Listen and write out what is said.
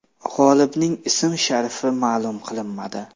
G‘olibning ismi-sharifi ma’lum qilinmadi.